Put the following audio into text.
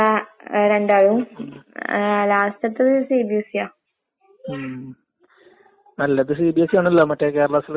ആഹ് കൂടുതൽ ശമ്പളം കിട്ട്മ്പോ നമ്മള് വിചാരിക്കൂല്ലേ നമ്മക്കും അങ്ങനെ പഠിച്ച്നെങ്കില് ചെറിയൊര് ഇത് മൂന്ന് വർഷാല്ലേ? ആ മൂന്ന് വർഷം കൂടി നമ്മ പഠിച്ചിരുന്നെങ്കിൽ നമുക്ക് നല്ലൊര്